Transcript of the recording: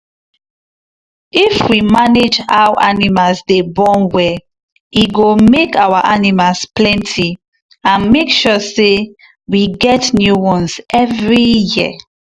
if we manage how animals dey born well e go make our animals plenty and make sure say we get new ones every year.